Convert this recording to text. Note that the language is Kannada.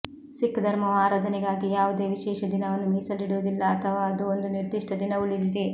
ಸಿಖ್ ಧರ್ಮವು ಆರಾಧನೆಗಾಗಿ ಯಾವುದೇ ವಿಶೇಷ ದಿನವನ್ನು ಮೀಸಲಿಡುವುದಿಲ್ಲ ಅಥವಾ ಅದು ಒಂದು ನಿರ್ದಿಷ್ಟ ದಿನ ಉಳಿದಿದೆ